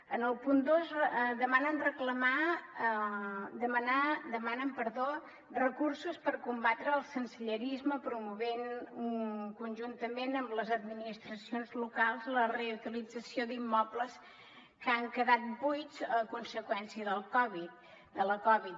en el punt dos demanen recursos per combatre el sensellarisme promovent conjuntament amb les administracions locals la reutilització d’immobles que han quedat buits a conseqüència de la covid